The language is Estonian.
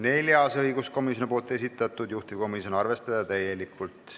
Neljas on õiguskomisjoni esitatud, juhtivkomisjon: arvestada täielikult.